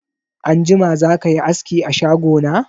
Anjima zakayi aski a shago na?